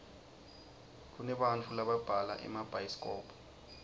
kunebantau lababhala emabhayisikobho